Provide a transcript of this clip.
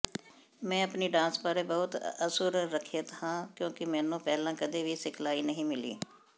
ਮੈਂ ਆਪਣੀ ਡਾਂਸ ਬਾਰੇ ਬਹੁਤ ਅਸੁਰੱਖਿਅਤ ਹਾਂ ਕਿਉਂਕਿ ਮੈਨੂੰ ਪਹਿਲਾਂ ਕਦੇ ਵੀ ਸਿਖਲਾਈ ਨਹੀਂ ਮਿਲੀ